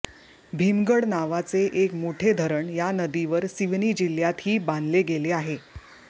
भीमगढ नावाचे एक मोठे धरण या नदीवर सिवनी जिल्ह्यातही बांधले गेले आहे